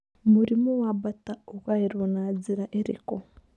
Mũrimũ wa Bartter ũgaĩrũo na njĩra ĩrĩkũ?